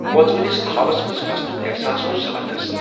كھوژونِس خوابس منز پھسنٗك احساس اوس زبردست ۔